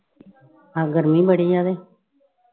ਆਹ ਗਰਮੀ ਬੜੀ ਆ ਤੇ।